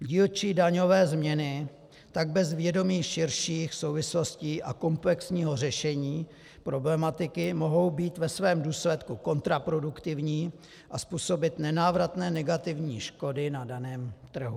Dílčí daňové změny tak bez vědomí širších souvislostí a komplexního řešení problematiky mohou být ve svém důsledku kontraproduktivní a způsobit nenávratné negativní škody na daném trhu.